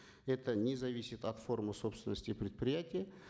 это не зависит от формы собственности предприятия